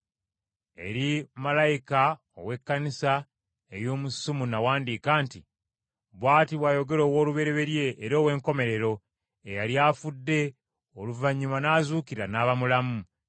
“Eri malayika ow’Ekkanisa ey’omu Sumuna wandiika nti: Bw’ati bw’ayogera Owoolubereberye era Owenkomerero eyali afudde oluvannyuma n’azuukira n’aba mulamu,